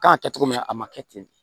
Kan ka kɛ cogo min na a ma kɛ ten